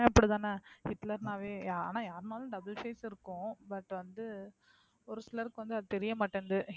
அப்படி தானே, ஹிட்லர்னாவே ஆனா யாருனாலும் double side இருக்கும் but வந்து ஒரு சிலருக்கு வந்து அது தெரியமாட்டேங்குது.